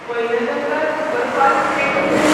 Wainganga superfast express